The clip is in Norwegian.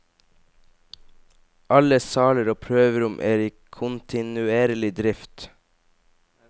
Alle saler og prøverom er i kontinuerlig drift.